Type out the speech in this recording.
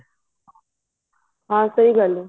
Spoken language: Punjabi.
ਹਾਂ ਸਹੀ ਗੱਲ ਹੈ